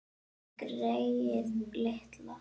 Greyið litla!